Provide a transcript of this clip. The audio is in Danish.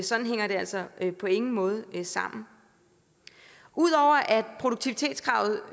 sådan hænger det altså på ingen måde sammen ud over at produktivitetskravet